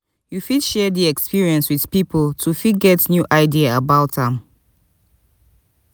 you fit share di experience with pipo to fit get new idea about am